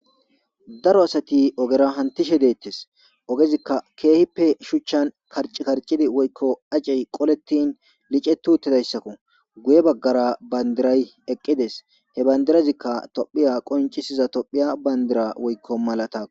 Daro asati ogera hantishe deettes ogezikka keehippe shuchchan parci karcidi woykko acey qolettin licetu uttidayssakko guye baggara bandiray eqqides he bandirazikka tophiya qoncisiza tophiya bandira woykko malata.